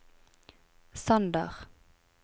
Sander